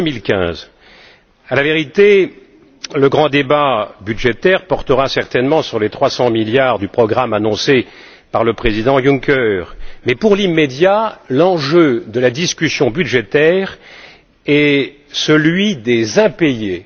2015. À la vérité, le grand débat budgétaire portera certainement sur les 300 milliards du programme annoncé par le président Juncker mais, pour l'immédiat, l'enjeu de la discussion budgétaire est celui des impayés.